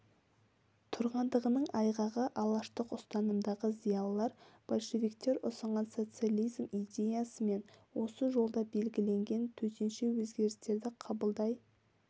тұрғандығының айғағы алаштық ұстанымдағы зиялылар большевиктер ұсынған социализм идеясымен осы жолда белгіленген төтенше өзгерістерді қабылдай